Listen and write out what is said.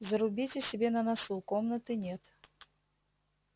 зарубите себе на носу комнаты нет